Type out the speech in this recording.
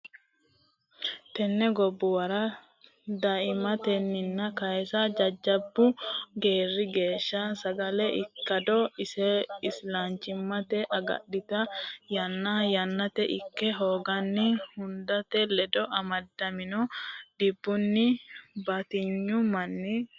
Tenne gobbuwara daaimimmatenni kayse jajjabbu geeri geeshsha sagale ikkado isilanchimmase agadhitinota yanna yannate ita hoogatenni hudete ledo amadamino dhibbinni batinyu manni reyanno.